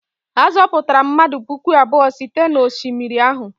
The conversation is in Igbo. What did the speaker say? A zọpụtara mmadụ puku abụọ site n'osimiri ahụ?